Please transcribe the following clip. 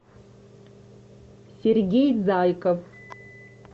сергей зайков